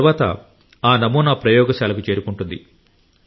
ఆ తరువాత ఆ నమూనా ప్రయోగశాలకు చేరుకుంటుంది